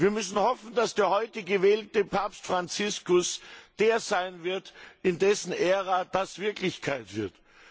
Wir müssen hoffen, dass der heute gewählte Papst Franziskus der sein wird, in dessen Ära das Wirklichkeit wird.